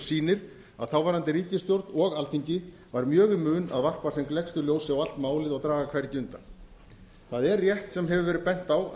sýnir að þáverandi ríkisstjórn og alþingi var mjög í mun að varpa sem gleggstu ljósi á allt málið og draga hvergi undan það er rétt sem hefur verið bent á að